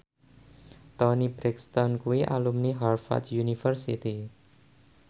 Toni Brexton kuwi alumni Harvard university